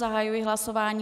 Zahajuji hlasování.